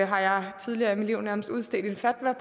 har jeg tidligere i mit liv nærmest udstedt en fatwa